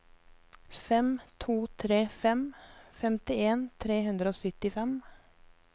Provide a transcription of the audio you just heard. fem to tre fem femtien tre hundre og syttifem